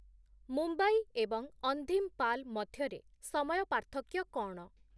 ମୁମ୍ବାଇ ଏବଂ ଅଂଧୀମ୍‌ପାଲ୍ ମଧ୍ୟରେ ସମୟ ପାର୍ଥକ୍ୟ କ’ଣ